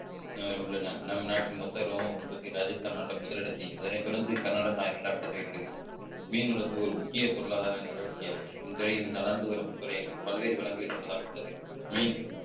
உள்ளன நம் நாட்டின் மொத்த ரோம உற்பத்தி ராஜஸ்தான் மாநிலம் முதலிடத்தை அதனைத் தொடர்ந்து கர்நாடகா இரண்டாம் இடத்தில் இருக்கிறது மீன் வளர்ப்பு ஒரு முக்கிய பொருளாதார நடவடிக்கையாகும் இத்துறையின் வளர்ந்து வரும் துறையகம் பல்வேறு வளங்களை கொண்டதாக உள்ளது மீன்